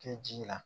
Kɛ ji la